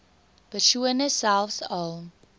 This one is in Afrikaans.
persone selfs al